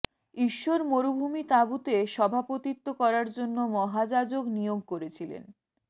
ঈশ্বর মরুভূমি তাঁবুতে সভাপতিত্ব করার জন্য মহাযাজক নিয়োগ করেছিলেন